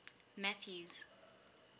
mathews